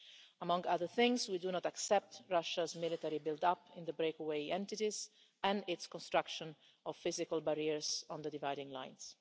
Among other things, we do not accept Russia's military build up in the breakaway entities and its construction of physical barriers on the dividing lines.